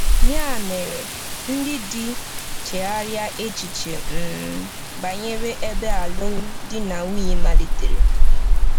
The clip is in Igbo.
Ya mere, ndị di, chegharịa echiche um banyere ebe alụmdi na nwunye malitere.